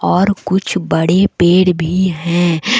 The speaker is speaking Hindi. और कुछ बड़े पेड़ भी है।